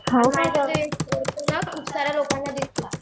खूप साऱ्या लोकांना दिसतो.